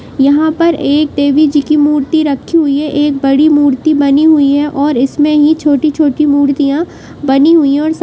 यहाँ पर एक देवी जी की मूर्ति रखी हुई है एक बड़ी मूर्ति बनी हुई है और इसमें ही छोटी-छोटी मूर्तियां बनी हुयी हैं और स----